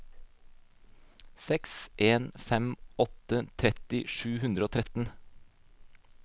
seks en fem åtte tretti sju hundre og tretten